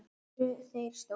Það eru þeir stóru.